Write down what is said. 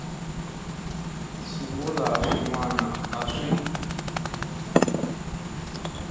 swivulwa swin wana a swi